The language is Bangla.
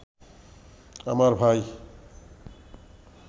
আমার ভাই